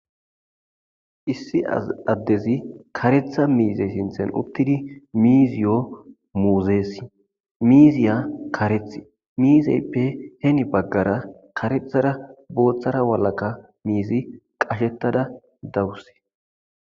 Issi adezi karetha mizay sinthani utidi miiziyo muuzesi, miiziya karethi , miizayppe heni bagara karethara boothara walaka qashetada dawuse.